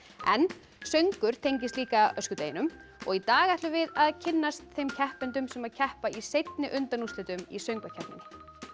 en söngur tengist líka öskudeginum og í dag ætlum við að kynnast þeim keppendum sem keppa í seinni undanúrslitum í söngvakeppninni